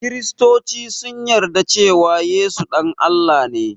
Kristoci sun yarda cewan Yesu ɗan Allah ne